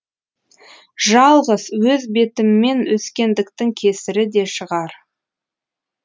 жалғыз өз бетіммен өскендіктің кесірі де шығар